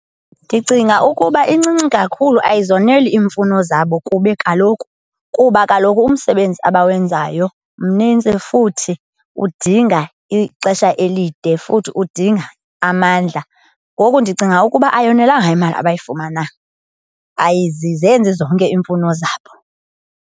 Ndicinga ukuba incinci kakhulu, ayizoneli iimfuno zabo kuba kaloku umsebenzi abawenzayo mninzi futhi udinga ixesha elide, futhi udinga amandla. Ngoku ndicinga ukuba ayonelanga imali abayifumana, ayizenzi zonke iimfuno zabo.